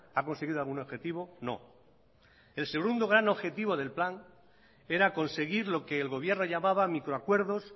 ha conseguido algún objetivo no el segundo gran objetivo del plan era conseguir lo que el gobierno llamaba micro acuerdos